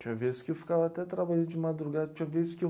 Tinha vezes que eu ficava até trabalhando de madrugada, tinha vezes que eu...